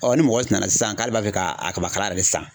ni mɔgɔ nana sisan k'ale b'a fɛ ka a kabakala yɛrɛ de san